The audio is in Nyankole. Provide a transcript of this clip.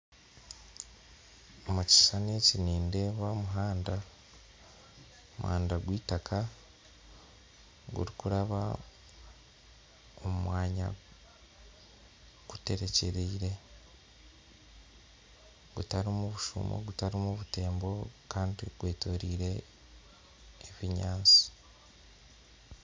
Omu kishushani eki nindeeba omuhanda gwa itaka gurikuraba omu mwanya guterekyerire gutarimu bushumo gutarimu butembo kandi gwetoriire ebinyansi